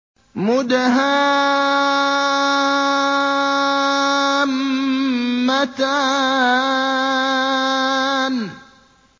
مُدْهَامَّتَانِ